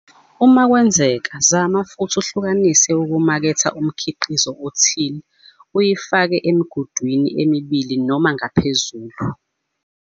Uma kwenzeka zama futhi uhlukanise ukumaketha umkhiqizo othile uyifake emigudwini emibili noma ngaphezulu.